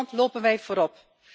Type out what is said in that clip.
In Nederland lopen wij voorop.